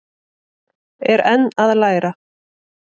Er enn að læra